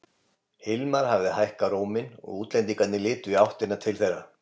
Hilmar hafði hækkað róminn og útlendingarnir litu í áttina til þeirra.